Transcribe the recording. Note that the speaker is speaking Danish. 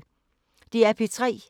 DR P3